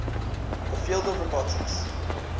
the field of robotics